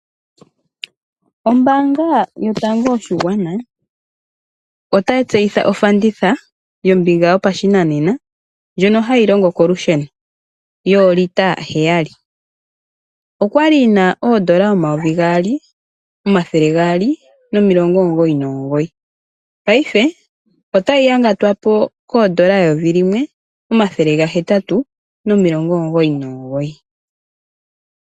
Ombaanga yotango yoshigwana otayi tseyitha ofanditha yombiga yopashinanena ndjono hayi longo kolusheno yoolita heyali. Okwa li yi na oondola omayovi gaali, omathele gaali nomilongo omugoyi nomugoyi. Paife otayi yangatwapo koondola eyovi limwe, omathele gahetatu nomilongo omugoyi.